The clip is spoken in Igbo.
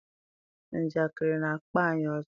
Njakịrị na-akpa anyị ọchị